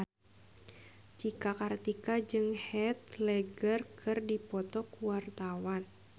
Cika Kartika jeung Heath Ledger keur dipoto ku wartawan